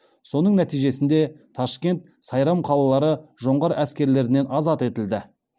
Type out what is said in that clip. соның нәтижесінде ташкент сайрам қалалары жоңғар әскерлерінен азат етілді